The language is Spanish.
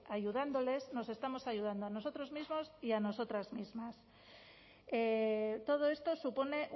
ayudándoles nos estamos ayudando a nosotros mismos y a nosotras mismas todo esto supone